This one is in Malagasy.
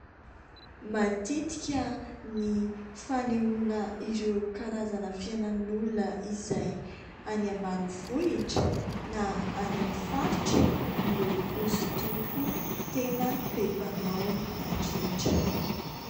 Matetika ny fanehoana ireo karazana fiainan'olona izay any ambanivohitra na any amin'ny faritra no hoso-doko tena be mpanao indrindra.